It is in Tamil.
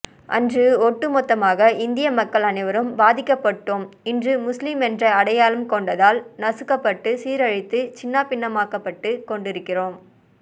அன்று ஒட்டுமொத்தமாக இந்தியமக்கள் அனைவரும் பாதிக்கப்பட்டோம் இன்று முஸ்லீம் என்ற அடையாளம் கொண்டதால் நசுக்கப்பட்டு சீரழித்து சின்னாபின்னமாக்கப்பட்டுக்கொண்டிருக்கிறோம்